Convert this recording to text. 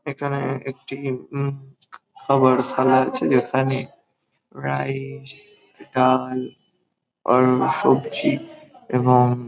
এখানে একটি উম খাবারশালা আছে | যেখানে রাইস ডাল আর সবজি এবং --